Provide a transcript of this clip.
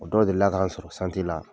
O dɔw delila k'an sɔrɔ la